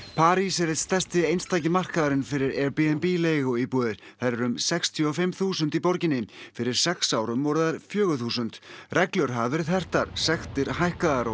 París er einn stærsti einstaki markaðurinn fyrir Airbnb leiguíbúðir þær eru um sextíu og fimm þúsund fyrir sex árum voru þær fjögur þúsund reglur hafa verið hertar sektir hækkaðar og